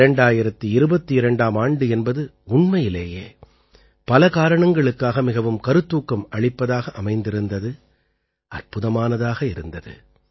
2022ஆம் ஆண்டு என்பது உண்மையிலேயே பல காரணங்களுக்காக மிகவும் கருத்தூக்கம் அளிப்பதாக அமைந்திருந்தது அற்புதமானதாக இருந்தது